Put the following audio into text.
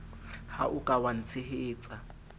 ha o ka wa ntshehetsa